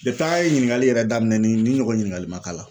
a' ye ɲininkali yɛrɛ daminɛ ni ɲɔgɔn ɲininkali man k'a la.